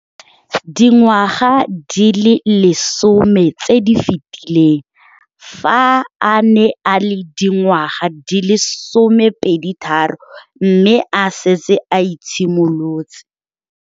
Dingwaga di le 10 tse di fetileng, fa a ne a le dingwaga di le 23 mme a setse a itshimoletse.